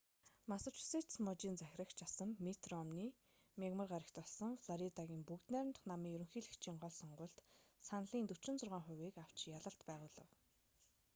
массачусетс мужийн захирагч асан митт ромни мягмар гарагт болсон флоридагийн бүгд найрамдах намын ерөнхийлөгчийн гол сонгуульд саналын 46 хувийг авч ялалт байгуулав